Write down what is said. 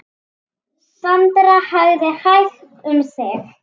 Sandra hafði hægt um sig.